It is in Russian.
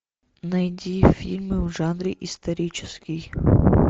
найди фильмы в жанре исторический